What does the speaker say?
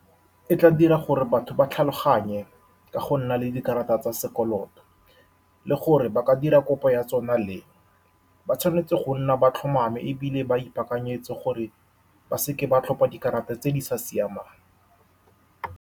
E tla dira gore batho ba tlhaloganye ka go nna le dikarata tsa sekoloto, le gore ba ka dira kopo ya tsona leng. Ba tshwanetse go nna ba tlhomame, ebile ba ipaakanyetse gore ba seka ba tlhopha dikarata tse di sa siamang.